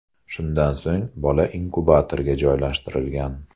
Shundan so‘ng bola inkubatorga joylashtirilgan.